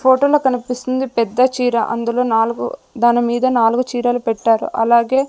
ఫోటోలో కనిపిస్తుంది పెద్ద చీర అందులో నాలుగు దాని మీద నాలుగు చీరలు పెట్టారు అలాగే.